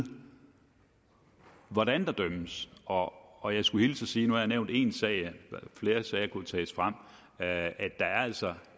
hvordan der dømmes og og jeg skulle hilse og sige nu har jeg nævnt en sag og flere sager kunne tages frem at der altså